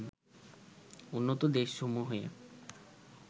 উন্নত দেশসমূহে